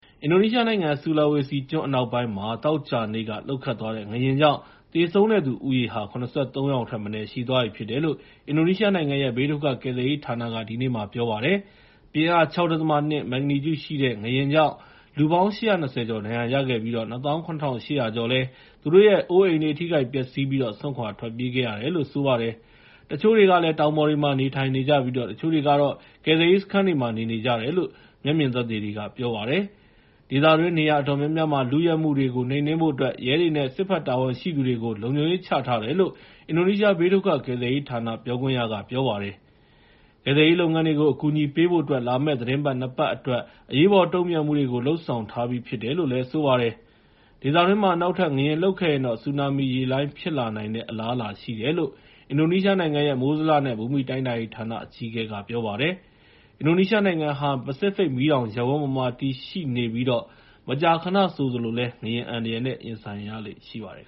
အင်ဒိုနီးရှားနိုင်ငံ ဆူလာဝေစီကျွန်း အနောက်ပိုင်းမှာ သောကြာနေ့ လှုပ်ခတ်သွားခဲ့တဲ့ ငလျင်ကြောင့် သေဆုံးတဲ့သူဦးရေဟာ ၇၃ ယောက်ထက်မနည်း ရှိသွားပြီလို့ အင်ဒိုနီးရှားနိုင်ငံရဲ့ ဘေးဒုက္ခကယ်ဆယ်ရေးဌာနက ဒီနေ့ ပြောလိုက်ပါတယ်။ ပြင်းအား ၆.၂ မက်ဂနီကျုရှိတဲ့ ငလျင်ကြောင့် လူပေါင်း ၈၂၀ ကျော် ဒဏ်ရာရခဲ့ကြပြီး ၂၇,၈၀၀ ကျော်လည်း သူတို့ရဲ့ အိုးအိမ်တွေ ထိခိုက်ပျက်စီးပြီး စွန့်ခွာထွက်ပြေးခဲ့ရတယ်လို့ ဆိုပါတယ်။ တချို့တွေကလည်း တောင်ပေါ်တွေမှာ နေထိုင်နေကြပြီး တချို့တွေကတော့ ကယ်ဆယ်ရေးစခန်းတွေမှာ နေနေကြတယ်လို့ မျက်မြင်သက်သေတွေက ပြောပါတယ်။ ဒေသတွင်း နေရာအတော်များများမှာ လုယက်မှုတွေကို နှိမ်နင်းဖို့အတွက် ရဲတွေနဲ့ စစ်တပ်တာဝန်ရှိသူတွေကို လုံခြုံရေးချထားတယ်လို့ အင်ဒိုနီးရှား ဘေးဒုက္ခကယ်ဆယ်ရေးဌာန ပြောခွင့်ရ Raditya Jati က ပြောပါတယ်။ ကယ်ဆယ်ရေးလုပ်ငန်းတွေကို အကူအညီပေးဖို့အတွက် လာမယ့်သီတင်းပတ် ၂ ပတ်အတွက် အရေးပေါ်တုံ့ပြန်မှုတွေကို လုပ်ဆောင်ထားပြီး ဖြစ်တယ်လို့လည်း သူက ပြောပါတယ်။ ဒေသတွင်းမှာ နောက်ထပ် ငလျင်လှုပ်ခဲ့ရင်တော့ ဆူနာမီရေလှိုင်းတွေ ဖြစ်လာနိုင်တဲ့ အလားအလာရှိတယ်လို့ အင်ဒိုနီးရှားနိုင်ငံရဲ့ မိုးဇလနဲ့ ဘူမိတိုင်းတာရေးဌာန အကြီးအကဲက ပြောပါတယ်။ အင်ဒိုနီးရှားနိုင်ငံဟာ ပစိဖိတ်မီးတောင်ရပ်ဝန်းပေါ်မှာ တည်ရှိနေပြီး မကြာခဏဆိုသလိုလည်း ငလျင်အန္တရာယ်နဲ့ ရင်ဆိုင်ရလေ့ ရှိပါတယ်